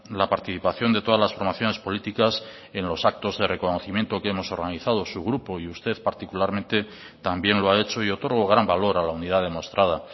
la participación de todas las formaciones políticas en los actos de reconocimiento que hemos organizado su grupo y usted particularmente también lo ha hecho y otorgo gran valor a la unidad demostrada